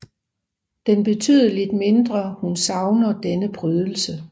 Den betydeligt mindre hun savner denne prydelse